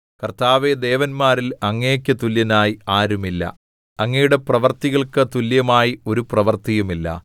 കർത്താവേ ദേവന്മാരിൽ അങ്ങേക്ക് തുല്യനായി ആരുമില്ല അങ്ങയുടെ പ്രവൃത്തികൾക്കു തുല്യമായി ഒരു പ്രവൃത്തിയുമില്ല